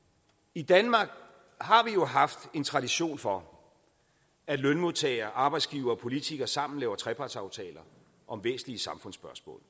i danmark har vi jo haft en tradition for at lønmodtagere arbejdsgivere og politikere sammen laver trepartsaftaler om væsentlige samfundsspørgsmål